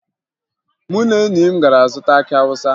Mụ na enyi m gara zụta akị Awụsa